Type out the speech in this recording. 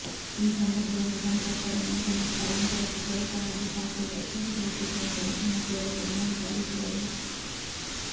ಈ ಸಂದರ್ಭದಲ್ಲಿ ಸಂತ್ರಸ್ತರು ಮನೆಗಳನ್ನು ಸ್ಥಳಾಂತರಿಸಿ ತ್ವರಿತವಾಗಿ ಶಾಶ್ವತ ಸೂರು ಕಲ್ಪಿಸುವಂತೆ ಮುಖ್ಯಮಂತ್ರಿಗಳಿಗೆ ಮನವಿ ಸಲ್ಲಿಸಿದರು